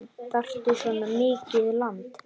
Þarftu svona mikið land?